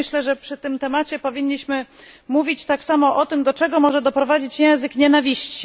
Myślę, że przy tym temacie powinniśmy mówić tak samo o tym, do czego może doprowadzić język nienawiści.